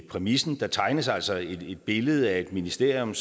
præmissen der tegnes altså et billede af et ministerium